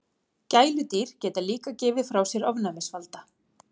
Gæludýr geta líka gefið frá sér ofnæmisvalda.